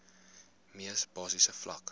mees basiese vlak